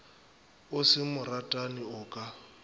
o se moratani o ka